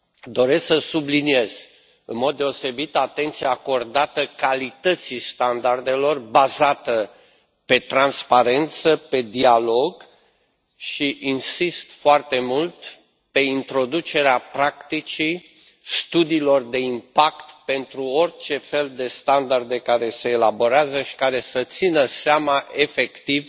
Doresc să subliniez în mod deosebit atenția acordată calității standardelor, bazată pe transparență și pe dialog, și insist foarte mult pe introducerea practicii studiilor de impact pentru orice fel de standarde care se elaborează care să țină seama efectiv